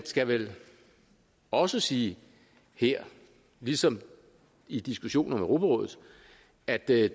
skal vel også sige her ligesom i diskussionen om europarådet at der